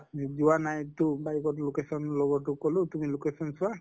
যোৱা নাই তʼ bike ত location লগৰ টোক কলো তুমি location চোৱা